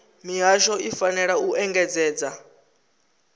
mihasho i fanela u engedzedza